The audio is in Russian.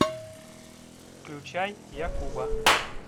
включай я куба